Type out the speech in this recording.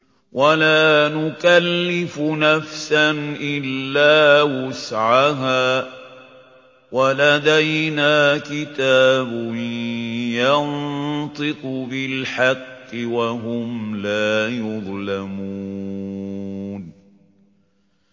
وَلَا نُكَلِّفُ نَفْسًا إِلَّا وُسْعَهَا ۖ وَلَدَيْنَا كِتَابٌ يَنطِقُ بِالْحَقِّ ۚ وَهُمْ لَا يُظْلَمُونَ